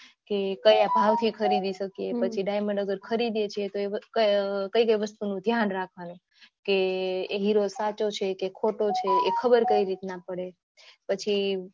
કે ક્યાં થી ખરીદી શકીયે પછી diamond હવે ખરીદીયે છે તો કઈ કઈ વસ્તુ નું ધ્યાન રાખવું જોયે કે હીરો સાચો છે કે ખોટો એ કઈ રીતના ખબર પડે પછી